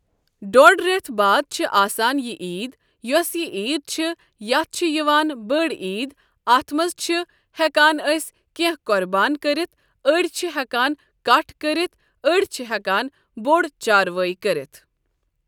ڈۄڑِ رٮ۪تھ باد چھِ آسان یہِ عیٖد یۄس یہِ عیٖد چھِ یَتھ چھِ یِوان بٕڈ عیٖد اَتھ منٛز چھِ ہٮ۪کان أسۍ کینٛہہ قۄربان کٔرِتھ أڑۍ چھِ ہٮ۪کان کَٹھ کٔرِتھ أڑۍ چھِ ہٮ۪کان بوٚڈ چاروٲے کٔرِتھ ۔